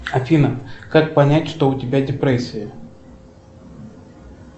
афина как понять что у тебя депрессия